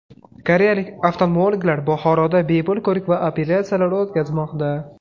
Koreyalik oftalmologlar Buxoroda bepul ko‘rik va operatsiyalar o‘tkazmoqda.